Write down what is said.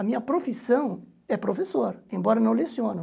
A minha profissão é professor, embora não leciono.